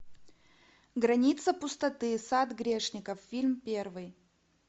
граница пустоты сад грешников фильм первый